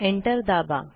enter दाबा